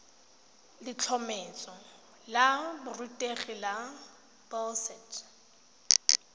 letlhomeso la borutegi la boset